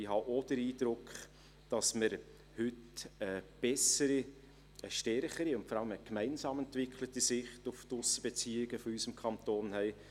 Ich habe auch den Eindruck, dass wir heute eine bessere, stärkere und vor allem eine gemeinsam entwickelte Sicht auf die Aussenbeziehungen unseres Kantons haben;